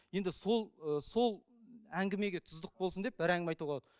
енді сол і сол әңгімеге тұздық болсын деп бір әңгіме айтуға